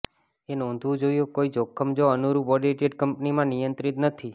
એ નોંધવું જોઇએ કોઈ જોખમ જો અનુરૂપ ઓડિટેડ કંપનીમાં નિયંત્રિત નથી